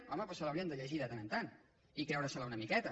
home doncs se l’haurien de llegir de tant en tant i creure se la una miqueta